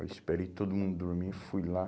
Eu esperei todo mundo dormir e fui lá.